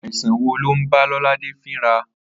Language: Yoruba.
Àìsàn wo̩ ló ń bá Ló̩ládè fíra?